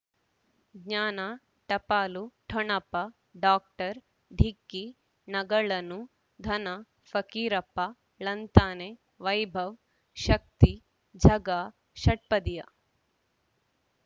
ಜ್ಞಾನ ಟಪಾಲು ಠೊಣಪ ಡಾಕ್ಟರ್ ಢಿಕ್ಕಿ ಣಗಳನು ಧನ ಫಕೀರಪ್ಪ ಳಂತಾನೆ ವೈಭವ್ ಶಕ್ತಿ ಝಗಾ ಷಟ್ಪದಿಯ